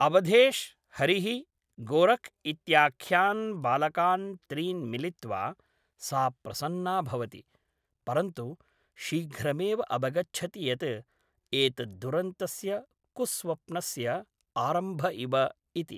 अवधेश्, हरिः, गोरख् इत्याख्यान् बालकान् त्रीन् मिलित्वा सा प्रसन्ना भवति, परन्तु शीघ्रमेव अवगच्छति यत् एतत् दुरन्तस्य कुस्वप्नस्य आरम्भइव इति।